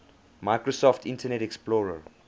microsoft internet explorer